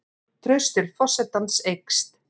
Traust til forsetans eykst